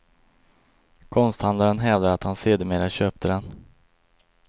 Konsthandlaren hävdar att han sedermera köpte den.